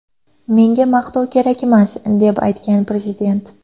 Menga maqtov kerakmas”, deb aytgan prezident.